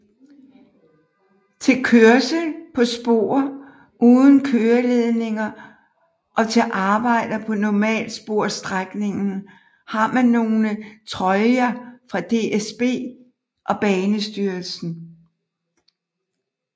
Til kørsel på spor uden køreledninger og til arbejder på normalsporsstrækningen har man nogle troljer fra DSB og Banestyrelsen